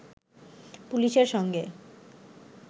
পুলিশের সঙ্গে